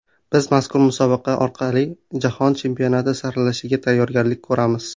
Biz mazkur musobaqa orqali Jahon Chempionati saralashiga tayyorgarlik ko‘ramiz.